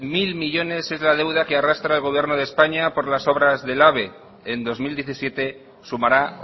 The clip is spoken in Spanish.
mil millónes es la deuda que arrastra el gobierno de españa por las obras del ave en dos mil diecisiete sumará